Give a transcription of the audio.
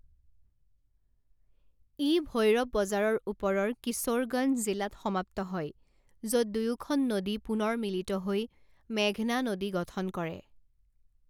ই ভৈৰব বজাৰৰ ওপৰৰ কিশোৰগঞ্জ জিলাত সমাপ্ত হয়, য'ত দুয়োখন নদী পুনৰ মিলিত হৈ মেঘনা নদী গঠন কৰে।